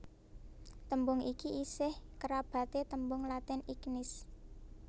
Tembung iki isih kerabaté tembung Latin ignis